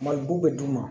Mali b'u bɛ d'u ma